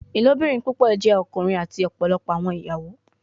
Ilobirin pupọ jẹ ọkunrin ati ọpọlọpọ awọn iyawo